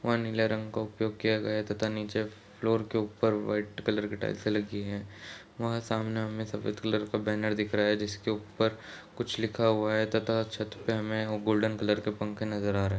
one का उपयोग किया गया है तथा नीचे फ्लोर के ऊपर वाइट कलर के टाइल्से लगी है वहाँ सामने हमें सफेद कलर का बैनर दिख रहा है जिसके ऊपर कुछ लिखा हुआ है तथा छत पे हमें वो गोल्डन कलर के पंखे नजर आ र --